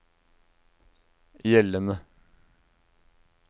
gjeldende